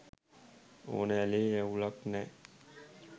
ඕන ඇලේ අවුලක් නෑ.